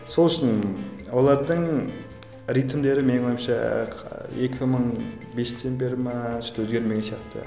сол үшін олардың ритмдері менің ойымша екі мың бестен бері ме что то өзгермеген сияқты